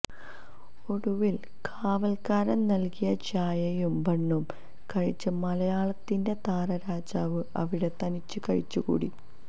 ഒടുവിൽ കാവൽക്കാരൻ നൽകിയ ചായയും ബണ്ണും കഴിച്ച് മലയാളത്തിന്റെ താരരാജാവ് അവിടെ തനിച്ച് കഴിച്ചുകൂട്ടി